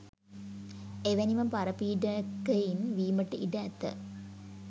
එවැනිම පරපීඩකයින් වීමට ඉඩ ඇත.